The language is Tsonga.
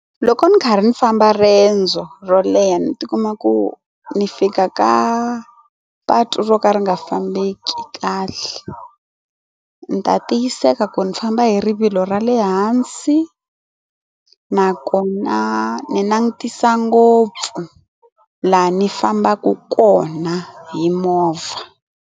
Loko ndzi karhi ndzi famba riendzo ro leha ni tikuma ku ni fika ka patu ro ka ri nga fambeki kahle ni ta tiyiseka ku ni ni famba hi rivilo ra le hansi na kona ni langutisa ngopfu laha ni fambaka kona hi movha.